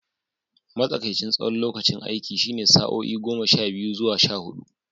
Matsakaicin tsawon lokacin aiki shine sa'o'i goma sha biyu zuwa sha hudu.